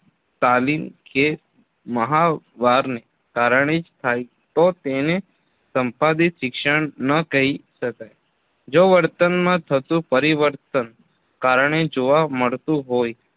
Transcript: તાલીમ કે મહાવારને કારણે જ થાય તો તેને સંપાદિત શિક્ષણ ન કહી શકાય જો વર્તનમાં થતું પરિવર્તન કારણે જોવા મળતું હોય